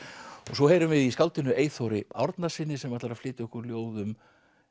svo heyrum við í skáldinu Eyþóri Árnasyni sem ætlar að flytja okkur ljóð um